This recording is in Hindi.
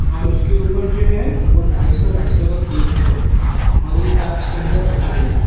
और उसके ऊपर जो है वो ढाई सौ ढाई सौ का केक है और एक कांच के अंदर रखा गया है।